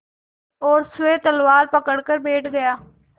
और स्वयं पतवार पकड़कर बैठ गया